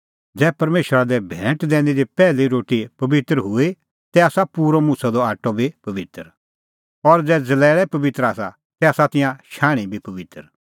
ज़ै परमेशरा लै भैंट दैनी दी पैहली रोटी पबित्र हुई तै आसा पूरअ मुछ़अ द पिठअ बी पबित्र और ज़ै ज़लैल़ै पबित्र आसा तै आसा तिंयां शाण्हीं बी पबित्र